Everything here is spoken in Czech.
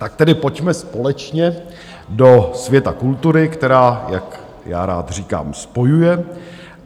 Tak tedy pojďme společně do světa kultury, která, jak já rád říkám, spojuje.